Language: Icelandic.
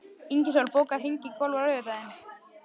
Ingisól, bókaðu hring í golf á laugardaginn.